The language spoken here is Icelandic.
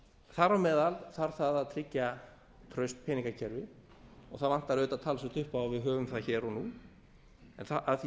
þar á meðal þarf það að tryggja traust peningakerfi og það vantar auðvitað talsvert upp á að við höfum það hér og nú en að því